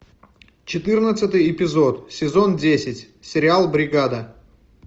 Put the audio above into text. четырнадцатый эпизод сезон десять сериал бригада